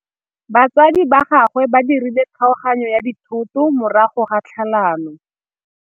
Batsadi ba gagwe ba dirile kgaoganyô ya dithoto morago ga tlhalanô.